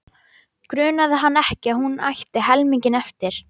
Grunaði hann ekki að hún ætti hinn helminginn eftir?